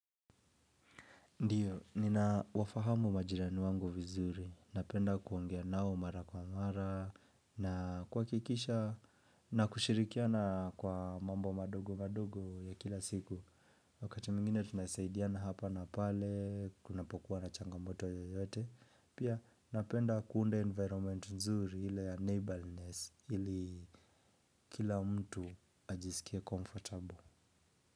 Ndiyo, ninawafahamu majirani wangu vizuri, napenda kuongea nao mara kwa mara, na kuhakikisha, na kushirikiana kwa mambo madogo madogo ya kila siku, wakati mwingine tunasaidiana hapa na pale, kunapokuwa na changamoto yoyote, pia napenda kuunda environment nzuri ile ya neighborness, ili kila mtu ajisikie comfortable.